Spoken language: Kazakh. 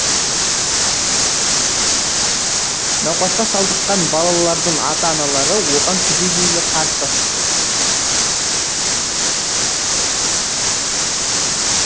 науқасқа шалдыққан балалардың ата аналары оған түбегейлі қарсы